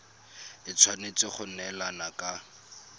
e tshwanetse go neelana ka